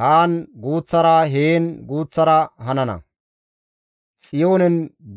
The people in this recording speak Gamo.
haan guuththara, heen guuththara hanana.